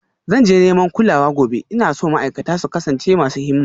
Zan je neman kulawa gobe, ina so ma'aikata su kasance masu himma